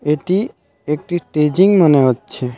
এটি একটি টেজিং মনে হচ্ছে .